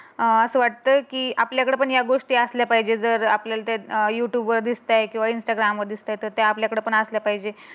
अं अस वाटत की आपल्या कड पण या गोष्टी असल्या पाहिजे जर आपल्याला ते यू ट्यूब वर दिसतय कीव्हा इंस्टाग्रामवर दिसते. तर ते आपल्या कड पण असल्या पहिजे.